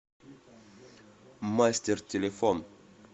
мастер телефон